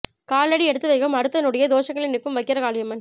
காலடி எடுத்து வைக்கும் அடுத்த நொடியே தோஷங்களை நீக்கும் வக்கிர காளியம்மன்